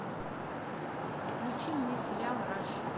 включи мне сериал раш